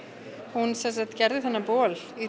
hún gerði þennan bol í